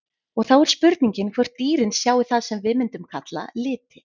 En þá er spurningin hvort dýrin sjái það sem við mundum kalla liti?